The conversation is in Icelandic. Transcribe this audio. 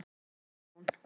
Skólabrún